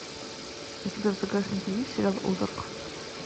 у тебя в загашнике есть сериал озарк